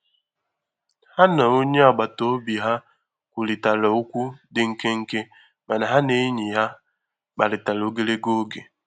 Ha na onye agbata obi ha kwurịtara okwu dị nkenke mana ha na enyi ha kparịtara ogologo oge.